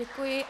Děkuji.